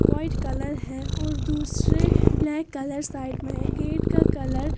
white colour है और दूसरे ब्लैक कलर साइड में है गेट का कलर --